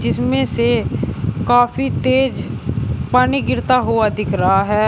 इसमें से काफी तेज पानी गिरता हुआ दिख रहा है।